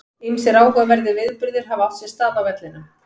Ýmsir áhugaverðir viðburðir hafa átt sér stað á vellinum.